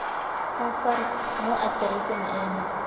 sa sars mo atereseng eno